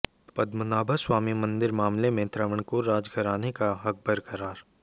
पद्मनाभस्वामी मंदिर मामले में त्रावणकोर राजघराने का हक बरकरार